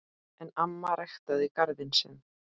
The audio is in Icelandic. En amma ræktaði garðinn sinn.